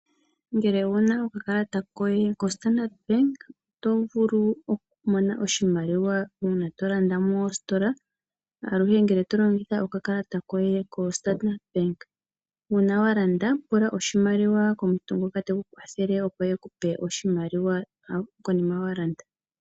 Ngele owuna okakalata koye koStandard Bank okumona oshimaliwa uuna tolanda moositola , aluhe ngele tolongitha okakalata koye koStandard Bank. Uuna walanda pula oshimaliwa komuntu ngoka teku kwathele ekupe oshimaliwa konima walanda.